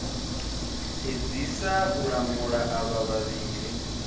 edzisa u lamula avha vhavhili